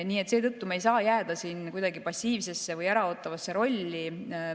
Nii et seetõttu ei saa me jääda siin kuidagi passiivsesse või äraootavasse rolli.